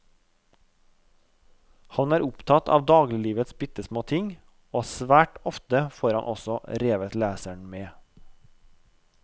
Han er opptatt av dagliglivets bittesmå ting, og svært ofte får han også revet leseren med.